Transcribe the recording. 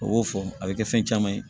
O y'o fɔ a bɛ kɛ fɛn caman ye